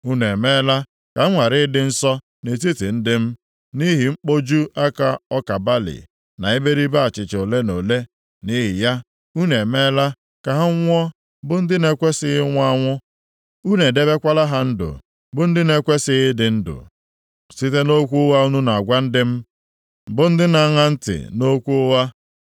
Unu emeela ka m ghara ịdị nsọ nʼetiti ndị m, nʼihi mkpoju aka ọka balị na iberibe achịcha ole na ole. Nʼihi ya, unu emeela ka ha nwụọ bụ ndị na-ekwesighị ịnwụ anwụ. Unu edebekwala ha ndụ bụ ndị na-ekwesighị ịdị ndụ, site nʼokwu ụgha unu na-agwa ndị m, bụ ndị na-aṅa ntị nʼokwu ụgha.